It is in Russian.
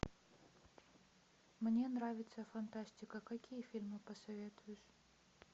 мне нравится фантастика какие фильмы посоветуешь